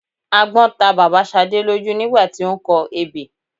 agbọ́n ta bàbá Ṣadé lójú nígbà tí ó ń kọ ebè